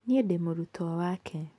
Niĩ ndĩ mũrutwo wake.